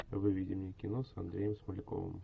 выведи мне кино с андреем смоляковым